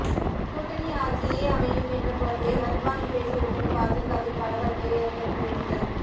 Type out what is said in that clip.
கூட்டணி ஆட்சியே அமையும் என்ற பொருளில் அத்வானி பேசியிருப்பது பாஜகவில் பரபரப்பை ஏற்படுத்தியுள்ளது